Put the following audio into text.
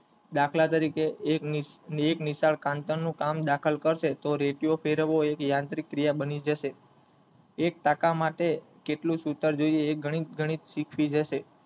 દાખલ તરીકે એક નિશાળ કાંચ નું કામ દાખલ કરશે તો રેંટિયો ફેરવો એ યાંત્રિક ક્રિયા બની જશે એક ટાકા માટે કેટલું સુતર જોઈએ એ ગણિત ગણિત શીખવી જશે.